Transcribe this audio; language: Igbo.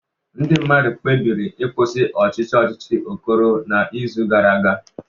Ndị mmadụ kpebiri ịkwụsị ọchịchị ọchịchị Okoro n'izu gara aga